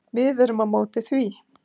Við erum á móti því.